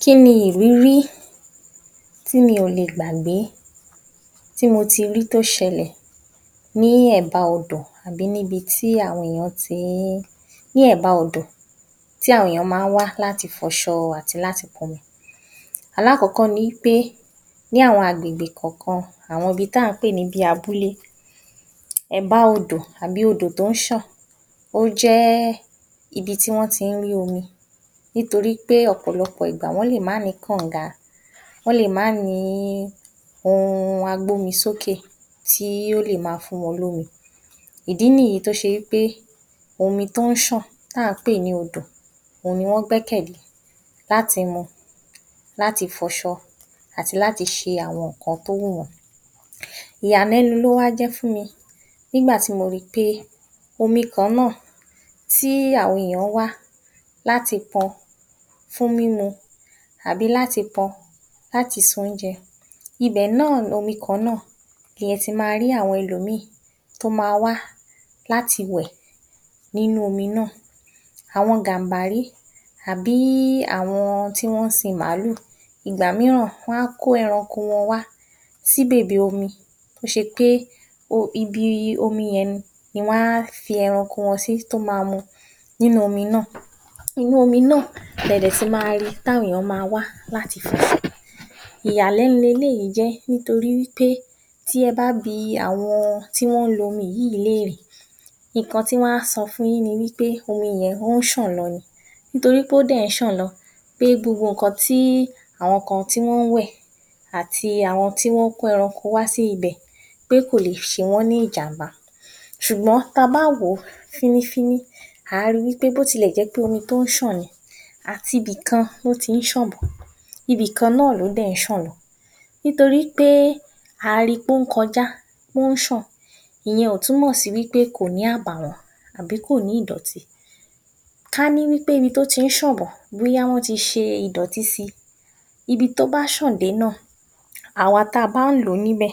Kí ni ìrírí tí mi ò le gbàgbé tí mo ti rí tó s̩e̩lè̩ ní è̩ba odò àbí níbi tí àwo̩n ti ń… ní è̩ba odò tí àwo̩n èèyàn máa ń wá láti fo̩s̩o̩ wo̩n àti láti po̩nmi. Alákò̩ó̩kó̩ ni pé ní àwo̩n agbègbè kò̩ò̩kan àwo̩n ibi tà ń pè ní abúlé. È̩bá odò àbí odò tó ń s̩àn ó jé̩ ibi tí wó̩n ti ń rí omi nítorí pé ò̩pò̩lo̩pò̩ ìgbà wó̩n lè má nìí kànǹga, wó̩n lè má nìí ohun agbómisókè tí ó lè máa fún wo̩n lómi, ìdí nìyí tó s̩e wí pé omi tó ń ṣàn tà ń pè ní odò ohun ni wó̩n gbé̩kè̩lé láti mu, láti fo̩s̩o̩ àti láti s̩e àwọn nǹkan tó wù wó̩n. Ìyàlé̩nu ló wá jé̩ fún mi nígbà tí mo ri pé omi kan náà tí àwo̩n èèyàn ń wá láti po̩n fún mímu àbí láti po̩n láti se oúnje̩, ibè̩ náà lomi kan náà ni e̩ tí máa rí àwo̩n e̩lòmíì tó ma wá láti wè̩ nínú omi náà. Àwo̩n Gàǹbarí àbí àwo̩n tí wó̩n ń sin màlúù, ìgbà mìíràn wó̩n á kó e̩ranko wọn wa sí bèbè omi tó s̩e pé ibi omi ye̩n ni ni wá fi e̩ranko wo̩n sí tó ma mu nínú omi náà. Inú omi náà le̩dè̩ tún máa rí i táwo̩n èèyàn máa wá láti fo̩s̩o̩. Ìyàlé̩nu leléyìí jé̩ nítorí wí pé tí e̩ bá bi àwo̩n tó ń lo omi yìí nǹkan tí wó̩n a so̩ fun yin ni wí pé omi ye̩n ó s̩àn lo̩ ni, nítorí pé ó dè̩ ń s̩àn lo̩ pé gbogbo nǹkan tí àwo̩n kan tí wó̩n ń wè̩ àti àwo̩n tó ń kó e̩ranko wá sí ibè̩ pé kò le s̩e wó̩n ní ìjàǹbá. S̩ùgbó̩n tí a bá wò ó fínnífínní a à rí wí pé bó ti lè jé̩ pé omi tó ń s̩àn ni àti ibì kan ló ti ń s̩àn bò̩, ibì kan náà ló dè̩ ń s̩àn lo̩, nítorí pé a rí pé ó ń ko̩já ó ń s̩àn ìye̩n ò túmò̩ sí pé kò ní àbàwó̩n àbí kò ní ìdò̩tí. Ká ní wí pé ibi tó ti ń s̩àn bò̩ ká ní wó̩n ti s̩e ìdò̩tí si, ibi tó bá s̩àn dé náà, àwa tá a bá ń lò ó níbè̩,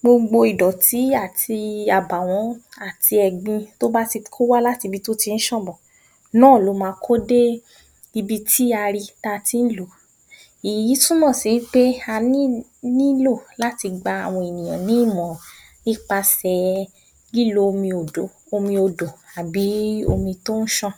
gbogbo ìdò̩tí àti àbàwo̩n àti è̩gbin tó bá ti ń kó wá láti ibi tí ó tì s̩àn bò̩ náà ló ma kó dé ibi tí a ri ta ti ń lò ó, èyí túmò̩ sí pé a nílò láti gba àwo̩n ènìyàn ní ìmò̩ràn nípasè̩ lílo omi òdò omi odò àbí omi tó ń s̩àn.